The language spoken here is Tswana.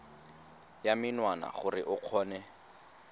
ya menwana gore o kgone